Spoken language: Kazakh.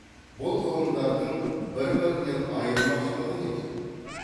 бұл ғылымдардың бір бірінен айырмашылығы неде